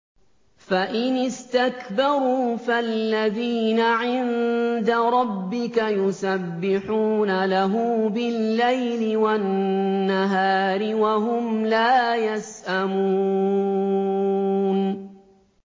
فَإِنِ اسْتَكْبَرُوا فَالَّذِينَ عِندَ رَبِّكَ يُسَبِّحُونَ لَهُ بِاللَّيْلِ وَالنَّهَارِ وَهُمْ لَا يَسْأَمُونَ ۩